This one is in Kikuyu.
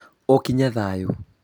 ũkĩnye thayũ